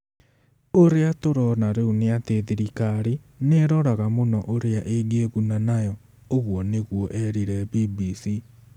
"Ũrĩa tũrona rĩu nĩ atĩ thirikari nĩ ĩroraga mũno ũrĩa ĩngĩĩguna nayo", ũguo nĩguo eerire BBC.